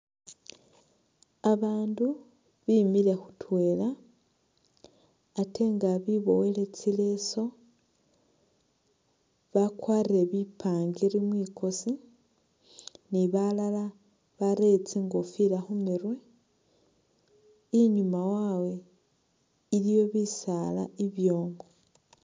Abaandu bimile khutwela, ate nga biboyele tsileso, bakwarire bipangiri mwikosi, ni balala barere tsingofila khu murwe, inyuma wabwe iliyo bisaala ibyoomu.